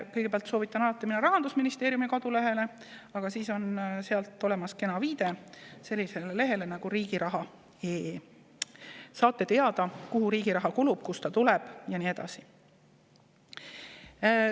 Kõigepealt soovitan alati minna Rahandusministeeriumi kodulehele, aga seal on olemas kena viide sellisele lehele nagu riigiraha.fin.ee, kust saate teada, kuhu riigi raha kulub, kust ta tuleb ja nii edasi.